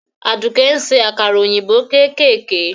Aduke ń se àkàrà òyìnbó kéékèèké.